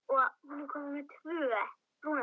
Í hvaða skóla er gæinn?